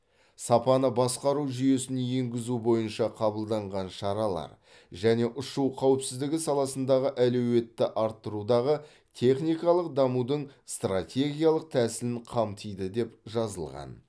сапаны басқару жүйесін енгізу бойынша қабылданған шаралар және ұшу қауіпсіздігі саласындағы әлеуетті арттырудағы техникалық дамудың стратегиялық тәсілін қамтиды деп жазылған